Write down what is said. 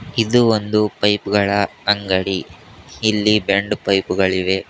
ಇದು ಒಂದು ಪೈಪ್ಗ ಳ ಅಂಗಡಿ ಇಲ್ಲಿ ಬೆಂಡು ಪೈಪ್ ಗಳಿವೆ.